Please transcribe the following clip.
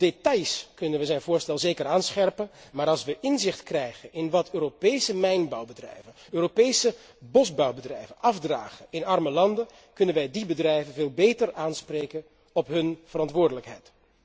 Op details kunnen we zijn voorstel zeker aanscherpen, maar als we inzicht krijgen in wat Europese mijnbouwbedrijven, Europese bosbouwbedrijven afdragen in arme landen, kunnen wij die bedrijven veel beter aanspreken op hun verantwoordelijkheid.